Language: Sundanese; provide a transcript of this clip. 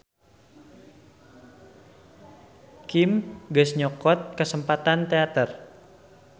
Kim geus nyokot kasempetan teater.